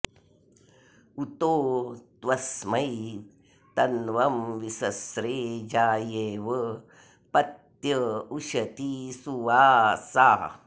उतो त्वस्मै तन्वं विसस्रे जायेव पत्य उशती सुवासा